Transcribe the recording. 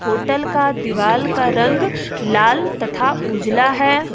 Hotel का दीवालदीवार का रंग लाल तथा उजला है।